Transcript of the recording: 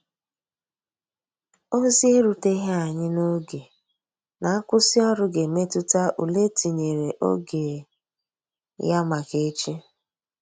Ozi e ruteghi anya n'oge na nkwụsi ọrụ ga emetụta ụle etinyere oge ya maka echi.